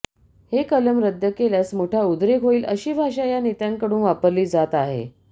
हे कलम रद्द केल्यास मोठा उद्रेक होईल अशी भाषा या नेत्यांकडून वापरली जात आहे